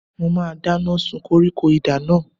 Mo máa dáná sun koríko idà náà.